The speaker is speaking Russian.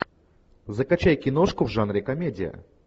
закачай киношку в жанре комедия